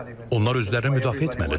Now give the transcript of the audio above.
Onlar özlərini müdafiə etməlidirlər.